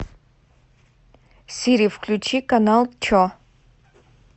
сири включи канал че